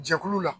Jɛkulu la